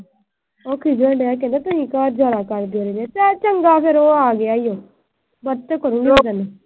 ਉਹ ਕੀ ਕਹਿਣ ਡਿਆ ਕਹਿੰਦਾ ਤੁਸੀਂ ਚਲ ਚੰਗਾ ਫਿਰ ਉਹ ਆ ਗਿਆ ਈ, ਵਟਸਐਪ ਕਰੂਗੀ ਮੈਂ ਤੈਨੂੰ